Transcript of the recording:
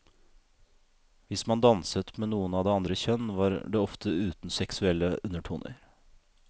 Hvis man danset med noen av det andre kjønn, var det ofte uten seksuelle undertoner.